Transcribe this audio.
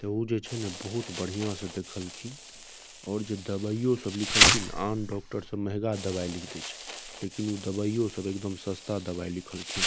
ते ऊ जेई छै ने बहुत बढ़िया से देखल खिन और जे दवाइयों सब लिखल खिन आन डॉक्टर सब महंगा दवाई लिख दे छै लेकिन ऊ दवाइयों सब सस्ता दवाई लिखल खिन।